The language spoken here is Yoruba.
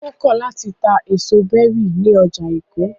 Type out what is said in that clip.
Ó kọ̀ láti ta èso berries ní ọjà Èkó.